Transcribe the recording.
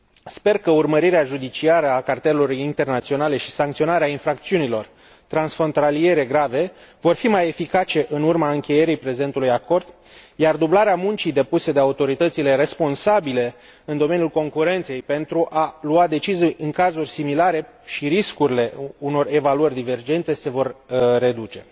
Sper că urmărirea judiciară a cartelurilor internaționale și sancționarea infracțiunilor transfrontaliere grave vor fi mai eficace în urma încheierii prezentului acord, iar dublarea muncii depuse de autoritățile responsabile în domeniul concurenței pentru a lua decizii în cazuri similare și riscurile unor evaluări divergente se vor reduce.